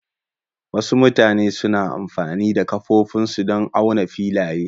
Wasu mutane suna amfani da ƙafafunsu don auna filaye.